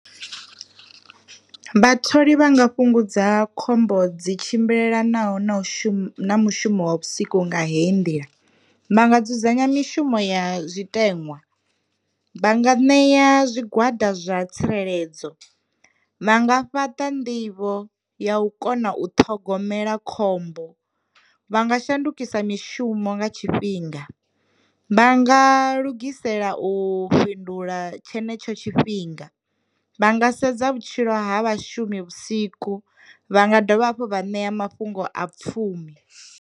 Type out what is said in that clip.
Vhatholi vhanga fhungudza khombo dzi tshimbilelanaho na u shuma mushumo wa vhusiku nga heyi ndila, vha nga dzudzanya mishumo ya zwitenwa, vha nga ṋea zwigwada zwa tsireledzo, vha nga fhaṱa nḓivho ya u kona u ṱhogomela khombo, vha nga shandukisa mishumo nga tshifhinga, vha nga lugisela u fhindula tshenetsho tshifhinga, vha nga sedza vhutshilo ha vhashumi vhusiku, vha nga dovha hafhu vha ṋea mafhungo a pfhumi.